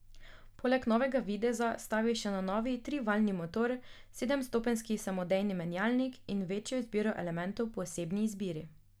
Poleg novega videza stavi še na novi trivaljni motor, sedemstopenjski samodejni menjalnik in večjo izbiro elementov po osebni izbiri.